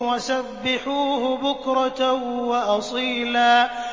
وَسَبِّحُوهُ بُكْرَةً وَأَصِيلًا